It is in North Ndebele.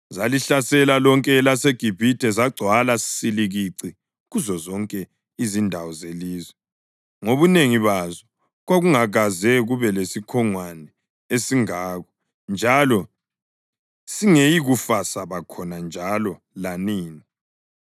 Zalihlasela lonke elaseGibhithe zagcwala silikici kuzozonke izindawo zelizwe ngobunengi bazo. Kwakungakaze kube lesikhongwane esingako njalo singeyikufa saba khona njalo lanini.